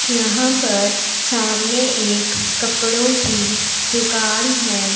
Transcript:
यहां पर सामने एक कपड़ों की दुकान है।